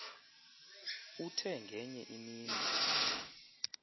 uthe ngenye imini